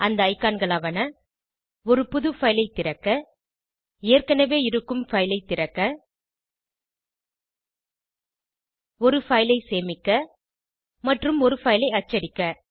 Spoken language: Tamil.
அந்த ஐகான்களாவன ஒரு புது பைல் ஐ திறக்க ஏற்கனவே இருக்கும் பைல் ஐ திறக்க ஒரு பைல் ஐ சேமிக்க மற்றும் ஒரு பைல் ஐ அச்சடிக்க